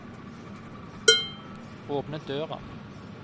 åpne døra